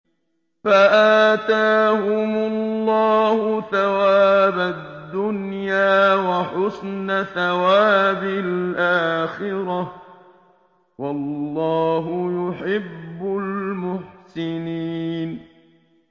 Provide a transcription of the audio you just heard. فَآتَاهُمُ اللَّهُ ثَوَابَ الدُّنْيَا وَحُسْنَ ثَوَابِ الْآخِرَةِ ۗ وَاللَّهُ يُحِبُّ الْمُحْسِنِينَ